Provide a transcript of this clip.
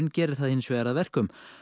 gerir það hins vegar að verkum